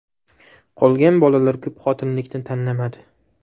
Qolgan bolalar ko‘pxotinlilikni tanlamadi.